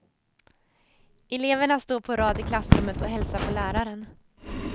Eleverna står på rad i klassrummet och hälsar på läraren.